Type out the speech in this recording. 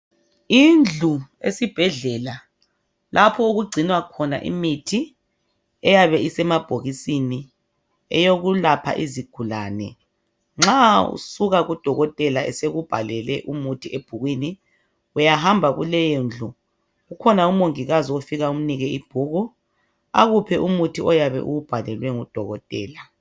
Indlu esibhedlela lapho okugcinwa khona imithi eyabe isemabhokisini eyokulapha izigulane nxa usuka ku dokotela sekubhalele umuthi ebhukwini uyahamba kuleyondlu kukhona umongikazi ofika umnike ibhuku akuphe umuthi oyabe uwubhalelwe ngudokotela